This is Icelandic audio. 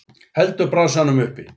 Heldur bransanum uppi.